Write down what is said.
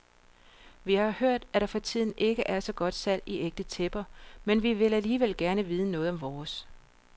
Vi har hørt, at der for tiden ikke er så godt salg i ægte tæpper, men vi vil alligevel gerne vide noget om vores.